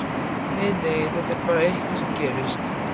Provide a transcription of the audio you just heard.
Nei, nei, þetta er bara eitthvað sem gerist.